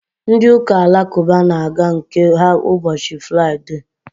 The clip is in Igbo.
ndị ụka alakụba na-aga nke ha ụbọchị fụraịde